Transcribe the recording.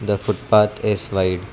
the foot path is wide.